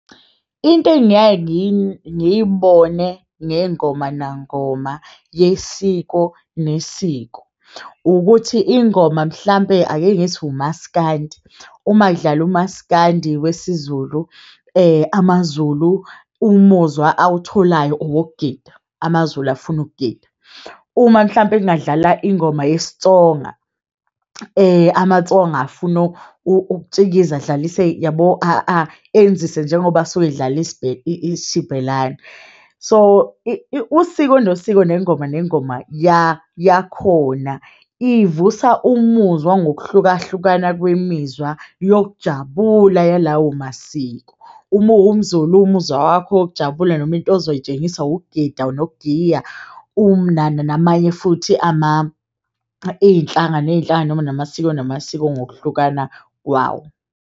Into engiyaye ngiyibone ngeyingoma nangoma yesiko nesiko ukuthi ingoma mhlampe ake ngithi umaskandi uma kudlala umaskandi wesiZulu, amaZulu umuzwa awutholayo owokugida amazulu afuna ukugida. Uma mhlampe kungadlala ingoma yesiTsonga amaTsonga afuna ukutshikiza adlalise yabo enzise njengoba asuke edlala isiXibelani, so usiko nosiko, nengoma nengoma yakhona ivusa umuzwa ngokuhlukahlukana kwemizwa yokujabula yalawo masiko uma uwumZulu umuzwa wakho wokujabula noma into ozoyitshengisa ukugida nokugiya, namanye futhi ama iyinhlanga neyinhlanga noma namasiko namasiko ngokuhlukana kwawo.